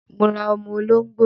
Mo ra ọmọ olóngbò